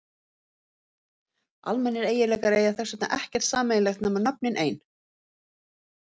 Almennir eiginleikar eiga þess vegna ekkert sameiginlegt nema nöfnin ein.